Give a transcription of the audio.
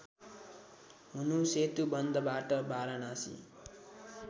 हुनु सेतुबन्धबाट वाराणसी